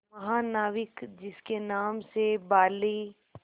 महानाविक जिसके नाम से बाली